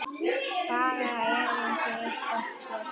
Baga erindi eitt og sér.